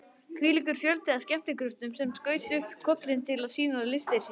Hvílíkur fjöldi af skemmtikröftum sem skaut upp kollinum til að sýna listir sínar!